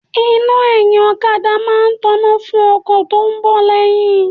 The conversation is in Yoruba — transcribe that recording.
Iná ẹyin okada máa ń tona fún ọkọ̀ tó bá ń bọ̀ lẹ́yìn.